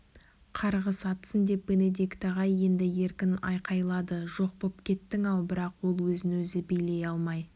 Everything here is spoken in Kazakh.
қарғыс атсын деп бенедикт ағай енді еркін айқайлады жоқ боп кеттің-ау бірақ ол өзін өзі билей алмай